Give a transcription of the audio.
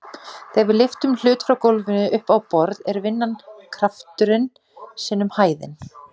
Þegar við lyftum hlut frá gólfinu upp á borð er vinnan krafturinn sinnum hæðin.